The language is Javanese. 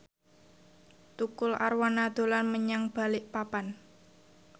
Tukul Arwana dolan menyang Balikpapan